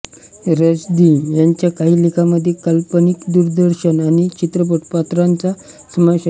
रश्दी यांच्या काही लेखांमध्ये काल्पनिक दूरदर्शन आणि चित्रपट पात्रांचा समावेश आहे